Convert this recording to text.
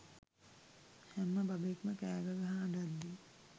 හැම බබෙක්ම කෑගගහා අඬද්දි